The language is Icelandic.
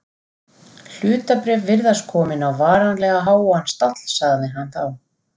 Hlutabréf virðast komin á varanlega háan stall sagði hann þá.